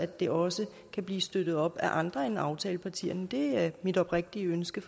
det også kan blive støttet af andre end aftalepartierne det er mit oprigtige ønske